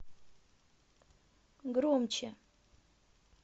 громче